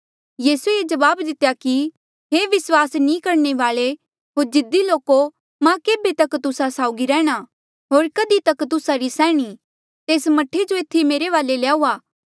यीसू ये जवाब दितेया कि हे विस्वास नी करणे वाले होर जिद्दी लोको मां केभे तक तुस्सा साउगी रैंह्णां होर कधी तक तुस्सा री सैहणी तेस मह्ठे जो एथी मेरे वाले ल्याऊआ